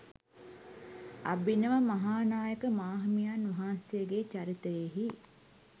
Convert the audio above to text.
අභිනව මහානායක මාහිමියන් වහන්සේගේ චරිතයෙහි